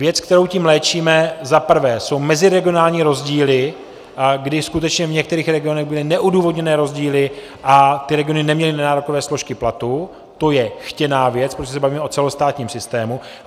Věc, kterou tím léčíme, za prvé, jsou meziregionální rozdíly, kdy skutečně v některých regionech byly neodůvodněné rozdíly a ty regiony neměly nenárokové složky platu, to je chtěná věc, protože se bavíme o celostátním systému.